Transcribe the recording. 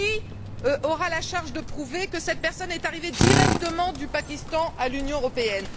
Qui aura la charge de prouver que cette personne est arrivée directement du Pakistan à l'Union européenne?